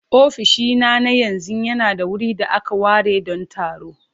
Ofishina na yanzu yana da wurin da aka ware don taro.